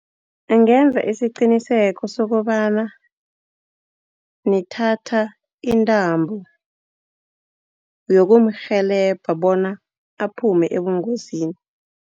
Angenza isiqiniseko sokobana nithatha intambo yokumrhelebha bona aphume ebungozini.